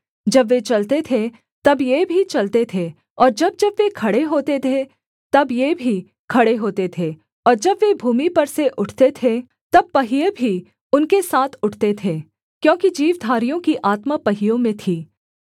जब वे चलते थे तब ये भी चलते थे और जब जब वे खड़े होते थे तब ये भी खड़े होते थे और जब वे भूमि पर से उठते थे तब पहिये भी उनके साथ उठते थे क्योंकि जीवधारियों की आत्मा पहियों में थी